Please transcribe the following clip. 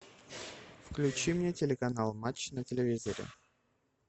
включи мне телеканал матч на телевизоре